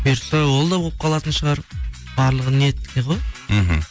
бұйыртса ол да болып қалатын шығар барлығы ниетте ғой мхм